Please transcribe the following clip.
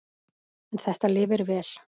En þetta lifir vel.